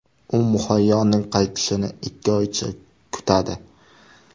U Muhayyoning qaytishini ikki oycha kutadi.